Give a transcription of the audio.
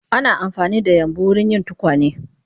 Ana amfanida yambu wurin yin tukwane